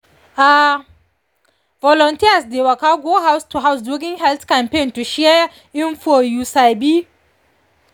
ah volunteers dey waka go house to house during health campaign to share info you sabi